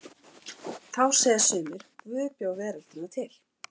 Þá segja sumir: Guð bjó veröldina til.